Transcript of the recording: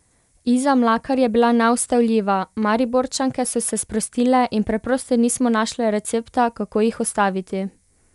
Iza Mlakar je bila neustavljiva, Mariborčanke so se sprostile in preprosto nismo našle recepta, kako jih ustaviti.